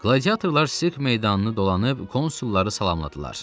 Qladiatorlar sirk meydanını dolanıb konsulları salamladılar.